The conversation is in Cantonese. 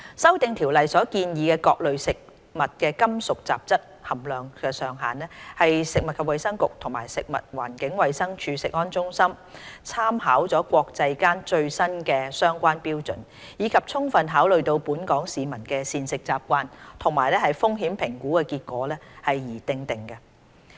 《修訂規例》所建議的各類食物的金屬雜質含量上限，是食物及衞生局及食物環境衞生署食物安全中心參考了國際間最新的相關標準，以及充分考慮到本港市民的膳食習慣和風險評估結果而訂定。